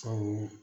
Sabu